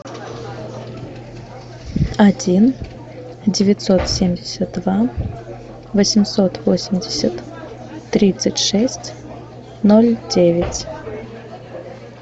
один девятьсот семьдесят два восемьсот восемьдесят тридцать шесть ноль девять